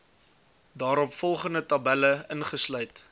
daaropvolgende tabelle ingesluit